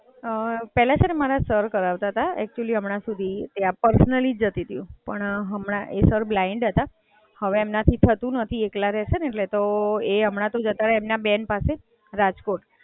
પેલા છે ને મારા સર કરાવતા તા, એક્ચુઅલ્લી હમણાં સુધી ત્યાં પર્સનલી જ જતી તી હું પણ હમણાં, એ સર બલાઇન્ડ હતા, હવે એમનાથી થતું નથી એકલા રહે છે ને એટલે તો એ હમણાં તો જતાં રહ્યા એમના બેન પાસે, રાજકોટ.